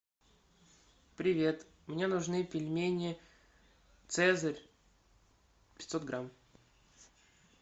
привет мне нужны пельмени цезарь пятьсот грамм